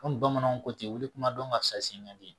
Komi bamananw ko ten wili kuma dɔn karisa sen ka di